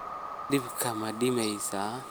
Dabkii ma damisay?